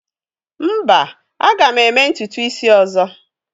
Mba, a ga m eme ntutu isi ọzọ?